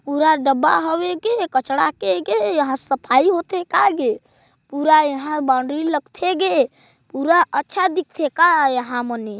पूरा डब्बा हवे के कचड़ा के के यहाँ सफाई होता का गे ? पूरा यहाँ बॉउंड्री लगथे गे पूरा अच्छा दीखते का यहाँ मनी--